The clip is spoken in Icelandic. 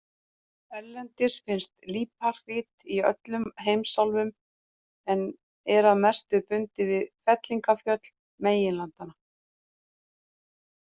Erlendis finnst líparít í öllum heimsálfum en er að mestu bundið við fellingafjöll meginlandanna.